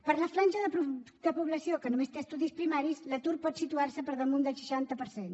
per la franja de població que només té estudis primaris l’atur pot situar se per damunt del seixanta per cent